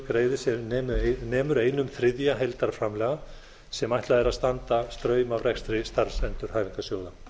greiði sem nemur einum þriðja heildarframlaga sem ætlað er að standi straum af rekstri starfsendurhæfingarsjóða